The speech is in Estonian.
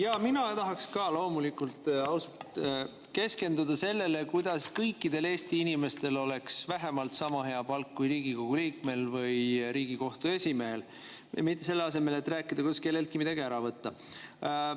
Ausalt, mina tahaks ka loomulikult keskenduda sellele, kuidas kõikidel Eesti inimestel oleks vähemalt sama hea palk kui Riigikogu liikmel või Riigikohtu esimehel, selle asemel et rääkida, kuidas kelleltki midagi ära võtta.